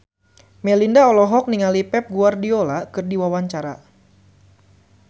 Melinda olohok ningali Pep Guardiola keur diwawancara